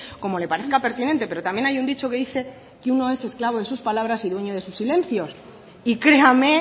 como le parezca pertinente pero también hay un dicho que dice que uno es esclavo de sus palabras y dueño de sus silencios y créame